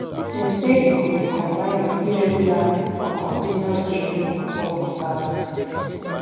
dem say e go be combine of irregular and continuous rains go fall for southern cities